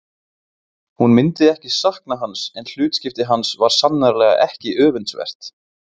Hún myndi ekki sakna hans en hlutskipti hans var sannarlega ekki öfundsvert.